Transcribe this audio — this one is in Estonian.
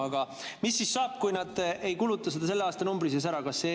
Aga mis siis saab, kui nad ei kuluta seda selle aastanumbri sees ära?